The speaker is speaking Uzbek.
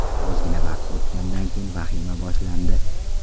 Ozgina vaqt o‘tgandan keyin vahima boshlandi.